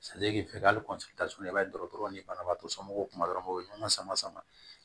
hali i b'a ye dɔrɔn ni banabaatɔ somɔgɔw kuma dɔrɔn u bɛ ɲɔgɔn sama sama